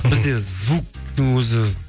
бізде звуктың өзі